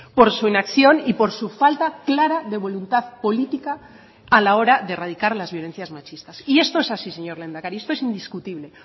por su inacción y por su falta clara de voluntad política a la hora de erradicar las violencias machistas y esto es así señor lehendakari esto es indiscutible